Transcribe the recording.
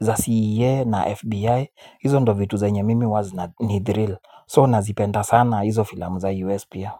za CA na FBI. Hizo ndo vitu zenye mimi huwa zina nithiril So nazipenda sana hizo filamu za US pia.